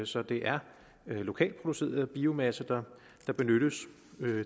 så det er lokalt produceret biomasse der benyttes